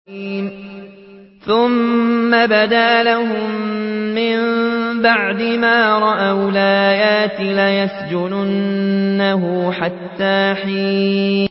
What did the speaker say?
ثُمَّ بَدَا لَهُم مِّن بَعْدِ مَا رَأَوُا الْآيَاتِ لَيَسْجُنُنَّهُ حَتَّىٰ حِينٍ